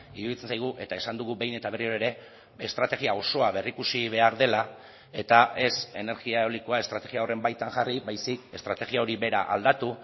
iruditzen zaigu eta esan dugu behin eta berriro ere estrategia osoa berrikusi behar dela eta ez energia eolikoa estrategia horren baitan jarri baizik estrategia hori bera aldatu